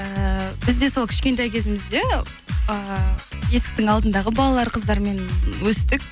эээ біз де сол кішкентай кезімізде э есіктің алдындағы балалар қыздармен өстік